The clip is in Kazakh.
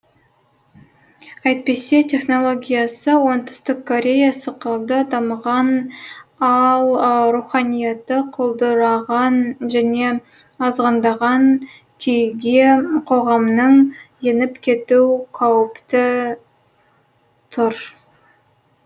әйтпесе технологиясы оңтүстік корея сықылды дамыған ал руханияты құлдыраған және азғындаған күйге қоғамның еніп кету қаупті тұр